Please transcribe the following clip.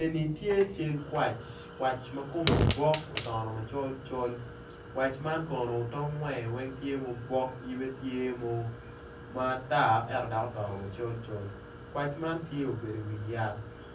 Eni kwac ma kome otono col col kwac eni kono tongo wang obok obeodo